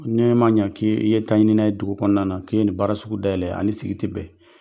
N'i ma ɲɛ k' i ye taɲina ye dugu kɔnɔna na k'i ye nin baara sugu dayɛlɛ a ni sigi tɛ bɛn